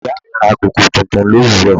Ìyá mi ra koko tuntun l'òwúrò.